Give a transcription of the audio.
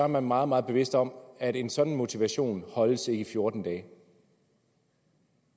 man meget meget bevidst om at en sådan motivation holdes ikke i fjorten dage